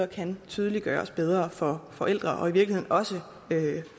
kan tydeliggøres bedre for forældrene og i virkeligheden også